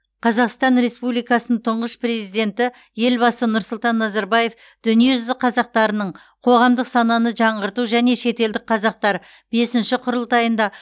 қазақстан республикасының тұңғыш президенті елбасы нұрсұлтан назарбаев дүниежүзі қазақтарының қоғамдық сананы жаңғырту және шетелдік қазақтар бесінші құрылтайында